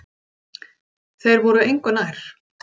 Þeir voru engu nær.